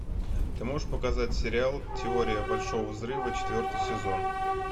ты можешь показать сериал теория большого взрыва четвертый сезон